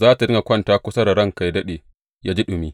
Za tă dinga kwanta kusa da ranka yă daɗe, yă ji ɗumi.